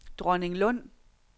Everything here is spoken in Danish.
Dronninglund